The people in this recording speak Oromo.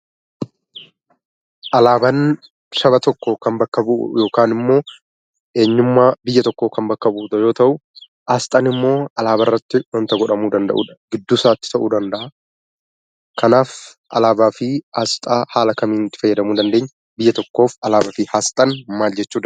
Alaabaan Saba tokko kan bakka bu'u yookaan immoo Eenyummaa Biyya tokkoo kan bakka bu'udha yoo ta'u; Aasxaan immoo Alaabaa irratti wanta godhamuu danda'udha. gidduusaatti ta'uu danda'aa. godhamuu wanta danda'udha Kanaafuu Alaabaa fi Aasxaa haala kamiin itti fayyadamuu dandeenya? Biyya tokkoof Alaabaafi Aasxaaan maali?